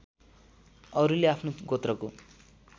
अरूले आफ्नो गोत्रको